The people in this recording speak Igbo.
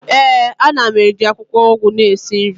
ee, a na m eji akwukwo ugu na esi nri